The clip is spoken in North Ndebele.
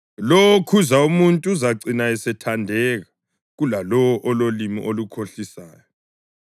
Lowo okhuza umuntu uzacina esethandeka kulalowo ololimi olukhohlisayo.